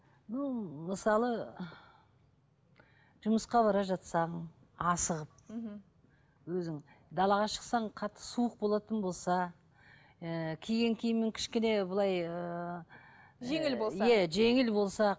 бұл мысалы жұмысқа бара жатсам асығып мхм өзің далаға шықсаң қатты суық болатын болса ы киген киімің кішкене былай ыыы жеңіл болса иә жеңіл болса